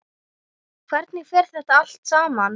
Hvernig fer þetta allt saman?